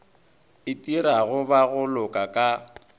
itirago ba go loka ka